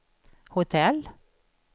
hotell